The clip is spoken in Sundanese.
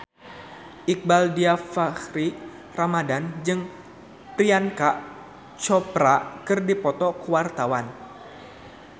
Iqbaal Dhiafakhri Ramadhan jeung Priyanka Chopra keur dipoto ku wartawan